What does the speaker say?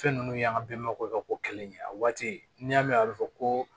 Fɛn ninnu y'an ka bamananw ka ko kɛlen ye a waati n'i y'a mɛn a bɛ fɔ ko